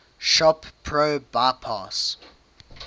shop pro bypass